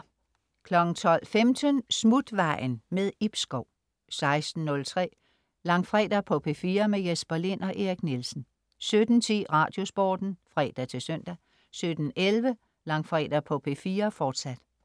12.15 Smutvejen. Ib Schou 16.03 Langfredag på P4. Jesper Lind og Erik Nielsen 17.10 Radiosporten (fre-søn) 17.11 Langfredag på P4. Fortsat